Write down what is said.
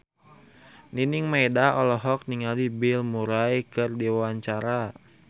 Nining Meida olohok ningali Bill Murray keur diwawancara